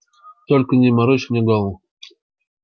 только не морочь мне голову